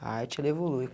A arte ela evolui.